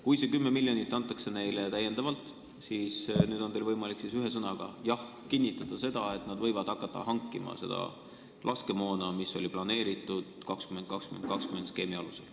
Kui see 10 miljonit antakse neile täiendavalt, siis nüüd on teil võimalik ühe sõnaga – "jah" – kinnitada seda, et nad võivad hakata hankima seda laskemoona, mis oli planeeritud skeemi 20 + 20 + 20 alusel.